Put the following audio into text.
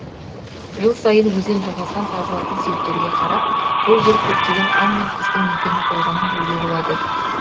жыл сайын өзен жағасынан табылатын сүйектерге қарап бұл жер көптеген аң мен құстың мекені болғанын білуге болады